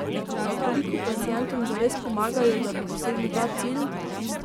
A koliko pacientom zares pomagajo, da bi dosegli ta cilj?